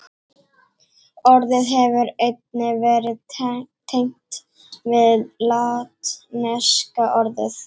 Orðið hefur einnig verið tengt við latneska orðið